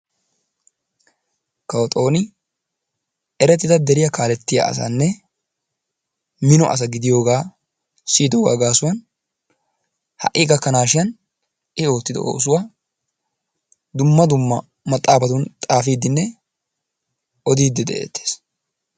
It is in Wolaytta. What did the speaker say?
Kawo xooni erettida deriyaa kaalettiya asanne minno asa giddiyoogaa siyodoogaa gaasuwan ha'i gakkanashin i oottido oosuwa dumma dumma maxaafatun xaafiidinne odiddi de'eetees.